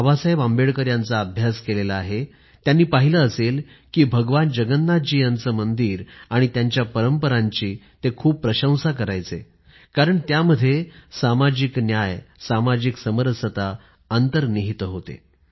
बाबासाहेब आंबेडकर यांचा अभ्यास केलेला आहे त्यांनी पाहिलं असेल कि भगवान जगन्नाथजी यांचं मंदिर आणि त्यांच्या परंपरांची ते खूप प्रशंसा करायचे कारण त्यामध्ये सामाजिक न्याय सामाजिक समरसता अंतर्निहित होते